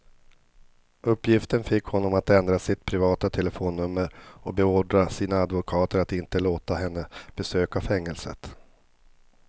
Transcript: Uppgiften fick honom att ändra sitt privata telefonnummer och beordra sina advokater att inte låta henne besöka fängelset.